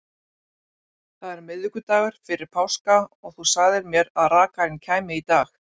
Það er miðvikudagur fyrir páska og þú sagðir mér að rakarinn kæmi í dag.